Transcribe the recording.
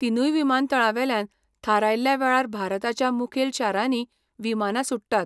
तिनूय विमानतळांवेल्यान थारयल्ल्या वेळार भारताच्या मुखेल शारांनी विमानां सुट्टात.